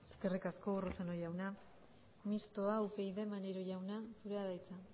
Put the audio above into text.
eskerrik asko urruzuno jauna mistoa upyd maneiro jauna zurea da hitza